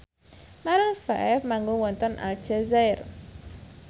Maroon 5 manggung wonten Aljazair